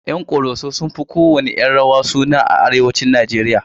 Yan ƙoroso sun fi kowanne 'yan rawa suna a arewacin Najeriya.